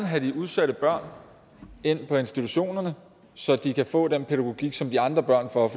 have de udsatte børn ind på institutionerne så de kan få den pædagogik som de andre børn får